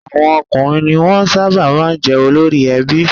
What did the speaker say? Àwọn ọkùnrin ni wọ́n sábà máa ń jẹ́ olórí ẹbí.